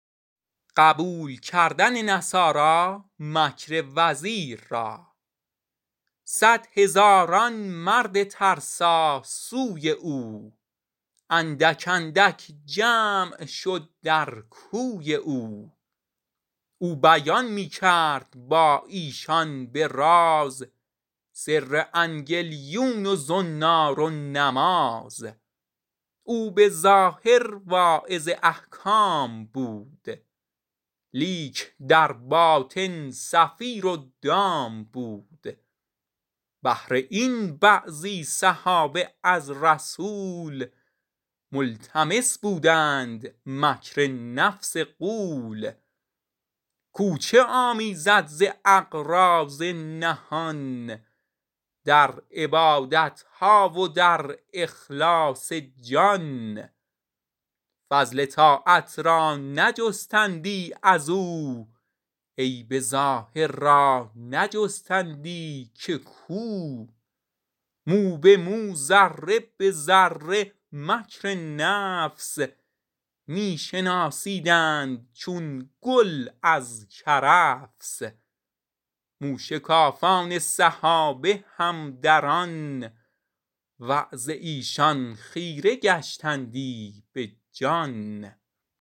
صد هزاران مرد ترسا سوی او اندک اندک جمع شد در کوی او او بیان می کرد با ایشان به راز سر انگلیون و زنار و نماز او به ظاهر واعظ احکام بود لیک در باطن صفیر و دام بود بهر این بعضی صحابه از رسول ملتمس بودند مکر نفس غول کو چه آمیزد ز اغراض نهان در عبادتها و در اخلاص جان فضل طاعت را نجستندی ازو عیب ظاهر را بجستندی که کو مو به مو و ذره ذره مکر نفس می شناسیدند چون گل از کرفس موشکافان صحابه هم در آن وعظ ایشان خیره گشتندی بجان